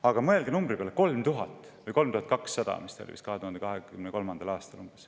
Aga mõelge arvu 3000 või 3200 peale, nii palju oli vist 2023. aastal.